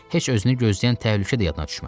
Heç özünü gözləyən təhlükə də yadına düşmədi.